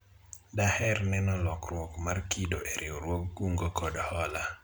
daher neno lokruok mar kido e riwruog kungo kod hola